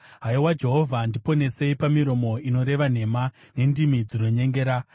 Haiwa Jehovha, ndiponesei pamiromo inoreva nhema, nendimi dzinonyengera.